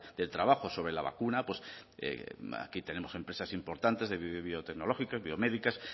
del trabajo sobre la vacuna pues aquí tenemos empresas importantes biotecnológicas biomédicas